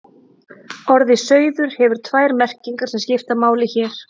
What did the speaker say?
Orðið sauður hefur tvær merkingar sem skipta máli hér.